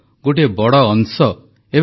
ଧୀରେ ଧୀରେ କଳକାରଖାନାଗୁଡ଼ିକ ମଧ୍ୟ ଚାଲୁହେଲାଣି